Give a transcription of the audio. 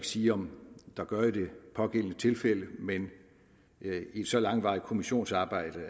sige om der gør i det pågældende tilfælde men i et så langvarigt kommissionsarbejde